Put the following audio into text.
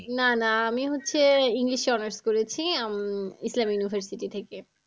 না না আমি হচ্ছে english এ honours করেছি উম ইসলাম university থেকে।